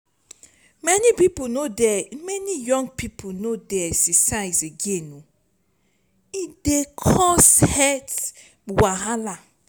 many pipo no dey many young pipo no dey exercise again e dey cause health wahala.